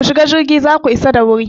Ku shiga jirgi za ku isa da wuri!